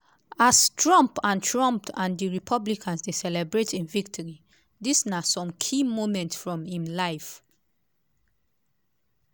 as trump and trump and di republicans dey celebrate im victory dis na some key moments from im life.